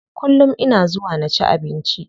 Kullum ina zuwa na ci abinci.